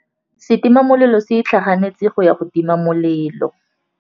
Setima molelô se itlhaganêtse go ya go tima molelô.